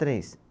Três.